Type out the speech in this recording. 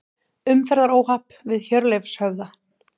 Umferðaróhapp við Hjörleifshöfða